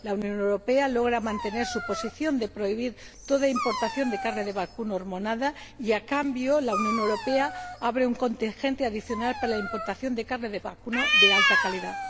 La Unión Europea logra mantener su posición de prohibir toda importación de carne de vacuno hormonada y, a cambio, abre un contingente adicional para la importación de carne de vacuno de alta calidad.